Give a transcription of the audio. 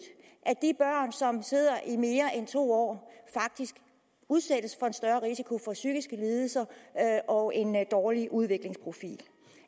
at de børn som sidder der i mere end to år faktisk udsættes for en større risiko for psykiske lidelser og en dårlig udviklingsprofil